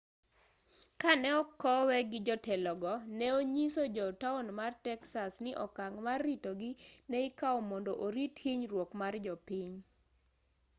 kane okowe gi jotelogo ne onyiso jo taon mar texas ni okang' mar ritogi ne ikaw mondo orit hinyruok mar jopiny